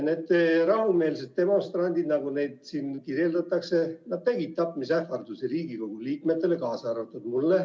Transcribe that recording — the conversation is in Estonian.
Need rahumeelsed demonstrandid, nagu neid siin kirjeldatakse, tegid tapmisähvardusi Riigikogu liikmetele, kaasa arvatud mulle.